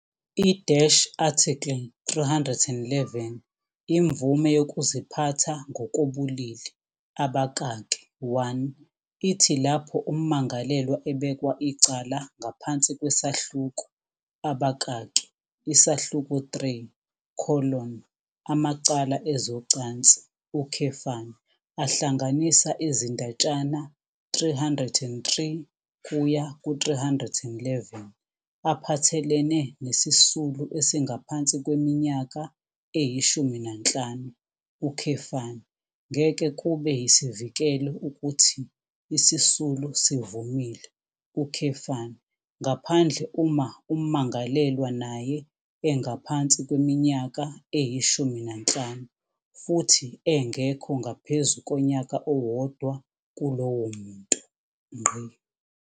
I-Article 311 Imvume Yokuziphatha Ngokobulili, abakaki 1, ithi lapho ummangalelwa ebekwa icala ngaphansi kwesahluko, abakaki isahluko 3- amacala ezocansi, ahlanganisa izindatshana 303-311 aphathelene nesisulu esingaphansi kweminyaka eyi-15, ngeke kube yisivikelo ukuthi isisulu sivumile, ngaphandle uma ummangalelwa naye engaphansi kweminyaka eyi-15 futhi engekho ngaphezu konyaka owodwa kulowo muntu.